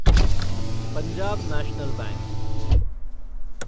Punjab National bank